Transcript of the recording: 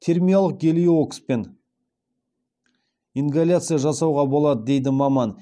термиялық гелиокспен ингаляция жасауға болады дейді маман